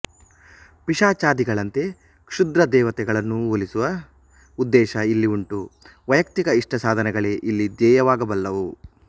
ಪಿಶಾಚಾದಿಗಳಂತೆ ಕ್ಷುದ್ರದೇವತೆಗಳನ್ನೂ ಒಲಿಸುವ ಉದ್ದೇಶ ಇಲ್ಲಿ ಉಂಟು ವೈಯಕ್ತಿಕ ಇಷ್ಟಸಾಧನೆಗಳೇ ಇಲ್ಲಿ ಧ್ಯೇಯವಾಗಬಲ್ಲವು